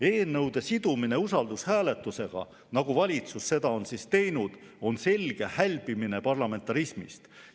Eelnõude sidumine usaldushääletusega, nagu valitsus seda on teinud, on selge parlamentarismist hälbimine.